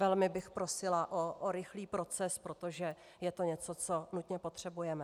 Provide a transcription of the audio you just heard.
Velmi bych prosila o rychlý proces, protože je to něco, co nutně potřebujeme.